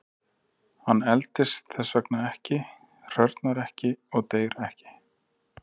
Hann eldist þess vegna ekki, hrörnar ekki og deyr ekki.